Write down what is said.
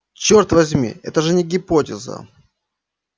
черт возьми это же не гипотеза